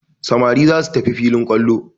Samari za su tafi filin kwallo.